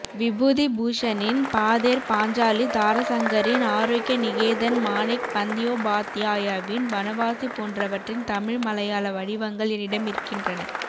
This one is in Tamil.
விபூதிபூஷனின் பாதேர் பாஞ்சாலி தாரசங்கரின் ஆரோக்ய நிகேதன் மாணிக் பந்த்யோபாத்யாயவின் வனவாசி போன்றவற்றின் தமிழ் மலையாள வடிவங்கள் என்னிடமிருக்கின்றன